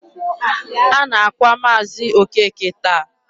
A na-akwa Maazi Okeke taa.